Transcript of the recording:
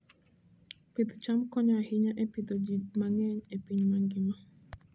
Pidh cham konyo ahinya e pidho ji mang'eny e piny mangima.